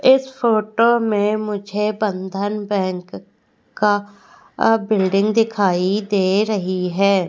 इस फोटो में मुझे बंधन बैंक का बिल्डिंग दिखाई दे रही है।